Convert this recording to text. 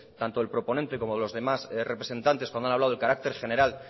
tanto del proponente como de los representantes cuando han hablado del carácter general